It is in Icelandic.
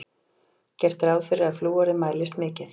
Gert sé ráð fyrir að flúorið mælist mikið.